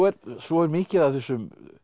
svo er mikið af þessum